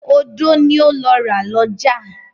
Odó ni ó lọ ra lọ́jà.